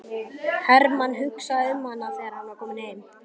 Hermann hugsaði um hana þegar hann var kominn heim.